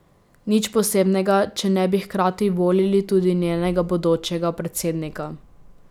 Nič posebnega, če ne bi hkrati volili tudi njenega bodočega predsednika.